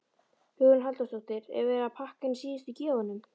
Hugrún Halldórsdóttir: Er verið að pakka inn síðustu gjöfunum?